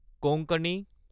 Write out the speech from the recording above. Konkani